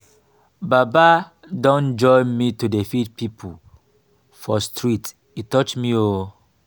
baba don join me to dey feed pipo for street e touch me o.